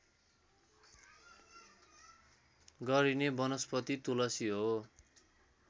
गरिने वनस्पति तुलसी हो